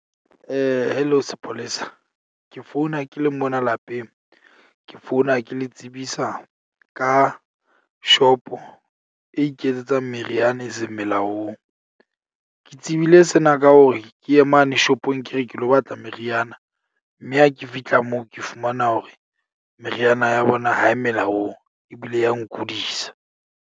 Hello sepolesa. Ke founa ke le mona lapeng ke founa ke le tsebisa ka shop-o e iketsetsang meriana e seng melaong. Ke tsebile sena ka hore ke ye mane shopong, ke re ke lo batla meriana. Mme ha ke fihla moo ke fumana hore meriana ya bona ha e melaong ebile ya nkudisa.